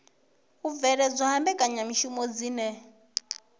u bveledzwa ha mbekanyamishumo dzine